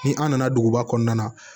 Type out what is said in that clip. Ni an nana duguba kɔnɔna na